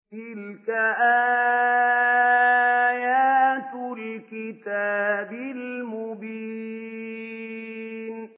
تِلْكَ آيَاتُ الْكِتَابِ الْمُبِينِ